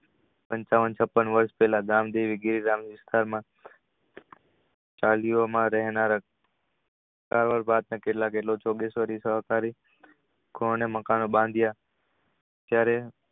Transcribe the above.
પંચાવન છપ્પન વર્ષ પેલા ગામદેવી કેટલા કે સહકારી કોને મકાન બાંધીયા ક્યારે